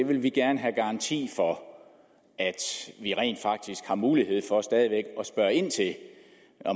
vi vil gerne have garanti for at vi rent faktisk har mulighed for stadig væk at spørge ind til det